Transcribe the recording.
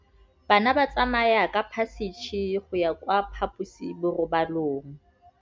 Bana ba tsamaya ka phašitshe go ya kwa phaposiborobalong.